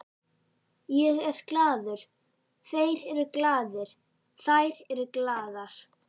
Ég er glaður, þeir eru glaðir, þær eru glaðar.